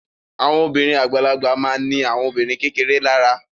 Àwọn obìnrin àgbàlagbà ma ní àwọn obìnrin kékeré lára